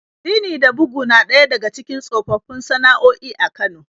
Rini da bugu na ɗaya daga cikin tsofaffin sana'o'i a Kano.